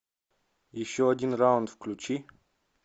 еще один раунд включи